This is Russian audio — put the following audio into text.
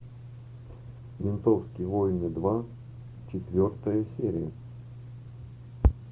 ментовские войны два четвертая серия